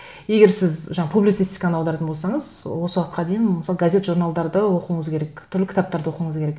егер сіз жаңа публицистиканы аударатын болсаңыз осы уақытқа дейін мысалы газет журналдарды оқуыңыз керек түрлі кітаптарды оқуыңыз керек